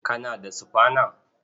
Kana da sufana?